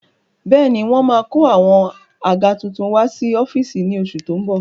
Bẹ́ẹ̀ni wọ́n máa kó àwọn àga tuntun wá sí ọ́fíìsì ní oṣù tó ń bọ̀